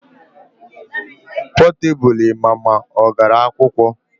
Potebụl ịma ma ọ gara akwụkwọ